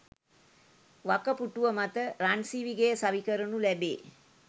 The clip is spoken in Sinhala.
වකපුටුව මත රන්සිවිගෙය සවිකරනු ලැබේ